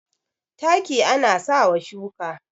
taki ana sa wa shuka